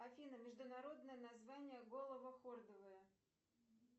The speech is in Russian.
афина международное название головохордовые